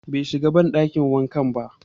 Be shiga banɗakin wankan ba